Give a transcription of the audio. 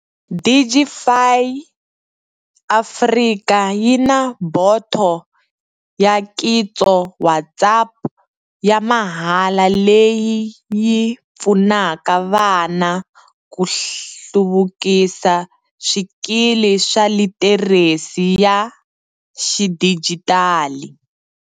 Digify Africa yi na boto ya Kitso WhatsApp ya mahala leyi yi pfunaka vana ku hluvukisa swikili swa litheresi ya xidijitali.